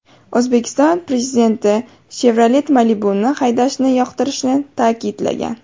O‘zbekiston Prezidenti Chevrolet Malibu’ni haydashni yoqtirishini ta’kidlagan.